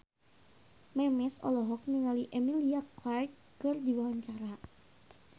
Memes olohok ningali Emilia Clarke keur diwawancara